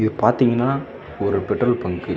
பாத்தீங்கன்னா ஒரு petrol bunk .